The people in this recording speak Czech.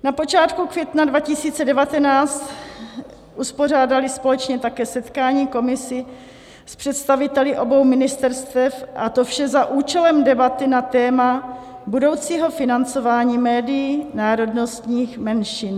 Na počátku května 2019 uspořádali společně také setkání komise s představiteli obou ministerstev, a to vše za účelem debaty na téma budoucího financování médií národnostních menšin.